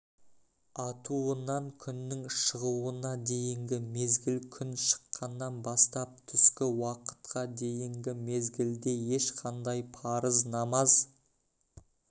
атуынан күннің шығуына дейінгі мезгіл күн шыққаннан бастап түскі уақытқа дейінгі мезгілде ешқандай парыз намаз